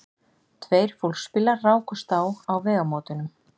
Tveir fólksbílar rákust á á vegamótunum